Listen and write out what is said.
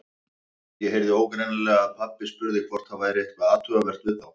Ég heyrði ógreinilega að pabbi spurði hvort það væri eitthvað athugavert við þá.